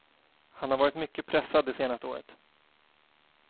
Han har varit mycket pressad det senaste året.